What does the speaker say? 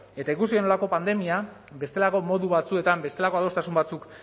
eta ikusi genuelako pandemia bestelako modu batzuetan bestelako adostasun batzuk